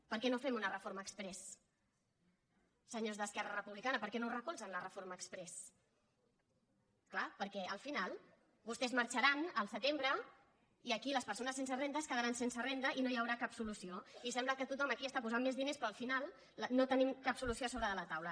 per què no fem una reforma exprés senyors d’esquerra republicana per què no recolzen la reforma exprés és clar perquè al final vostès marxaran al setembre i aquí les persones sense renda es quedaran sense renda i no hi haurà cap solució i sembla que tothom aquí està posant més diners però al final no tenim cap solució sobre de la taula